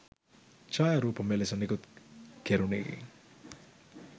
ඡායාරූප මෙලෙස නිකුත් කෙරුනේ